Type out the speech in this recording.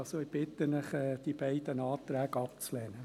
Ich bitte Sie also, diese beiden Anträge abzulehnen.